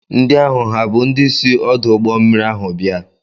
Ndị ahụ ha bụ ndị si ọdụ ụgbọmmiri ahụ bịa?